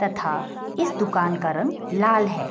तथा इस दुकान का रंग लाल है।